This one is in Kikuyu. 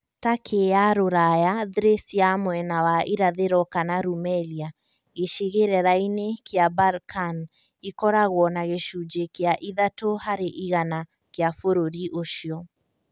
Turkey ya Rũraya (Thrace ya mwena wa irathĩro kana Rumelia gĩcigĩrĩra-inĩ kĩa Balkan) ĩkoragwo na gĩcunjĩ kĩa ithatũ harĩ igana [ 3%] kĩa bũrũri ũcio.